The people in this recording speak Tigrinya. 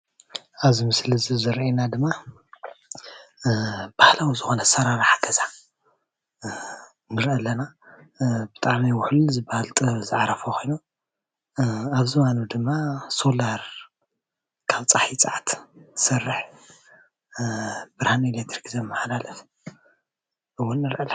ኣብ እዚ ምስሊ እዚ ዝረአየና ድማ ባህላዊ ዝኮነ ኣሰራርሓ ገዛ ንሪኢ ኣለና፡፡ ብጣዕሚ ውሕሉል ዝባሃል ጥበብ ዝዓረፎ ኮይኑ ኣብ ዝባኑ ድማ ሶላር ካብ ፀሓይ ፀዓት እትሰርሕ ብርሃን ኤሌትሪክ ዘማሓላልፍ እውን ንሪኢ ኣለና፡፡